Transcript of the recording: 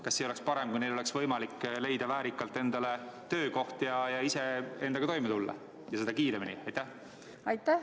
Kas ei oleks parem, kui neil oleks võimalik leida väärikalt endale töökoht ja ise endaga toime tulla ja seda kiiremini?